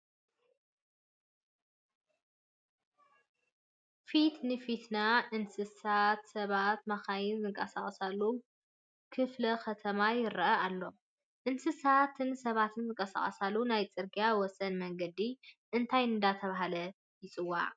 ፊት ንፊትና እንስሳት፣ ሰባትን መኻይንን ዝንቀሳቐስሉ ክፍሉ ከተማ ይርአየና ኣሎ፡፡ እንስሳትን ሰባትን ዝንቀሳቀሹሉ ናይ ፅርጊያ ወሰን መንገዲ እንታይ እናተባህለ ይፅዋዕ?